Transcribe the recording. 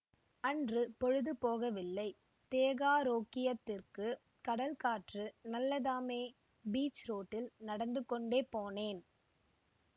அன்று பொழுது போகவில்லை தேகாரோக்கியத்திற்குக் கடல் காற்று நல்லதாமே பீச் ரோட்டில் நடந்து கொண்டே போனேன்